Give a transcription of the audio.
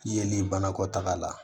Yeli banakɔtaga la